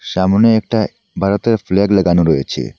সামোনে একটা বারোতের ফ্ল্যাগ লাগানো রয়েছে।